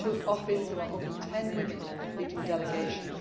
for me. When I took office there were only ten women leading delegations